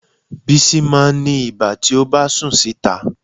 Bísí máa ń ní ibà tí ó bá sùn síta